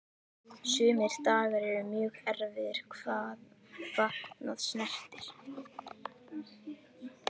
Sumir dagar eru mjög erfiðir hvað fatnað snertir.